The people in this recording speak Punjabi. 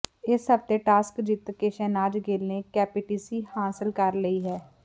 ਇਸ ਹਫਤੇ ਟਾਸਕ ਜਿੱਤ ਕੇ ਸ਼ਹਿਨਾਜ਼ ਗਿੱਲ ਨੇ ਕੈਪਟੈਂਸੀ ਹਾਸਲ ਕਰ ਲਈ ਹੈ